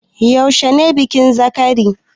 Yaushe ne bikin zakari?